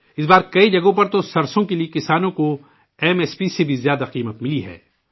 اس بار کئی جگہوں پر تو سرسوں کے لیے کسانوں کو ایم ایس پی سے بھی زیادہ قیمت ملی ہے